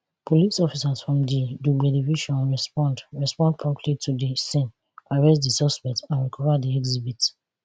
police officers from di dugbe division respond respond promptly to di scene arrest di suspect and recova di exhibit